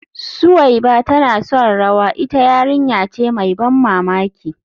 Suweiba tana son rawa, ita yarinya ce mai ban mamaki